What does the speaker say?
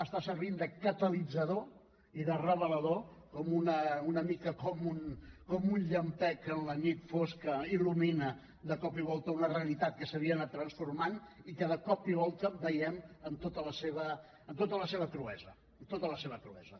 està servint de catalitzador i de revelador una mica com un llampec en la nit fosca il·lumina de cop i volta una realitat que s’havia anat transformant i que de cop i volta la veiem amb tota la seva cruesa amb tota la seva cruesa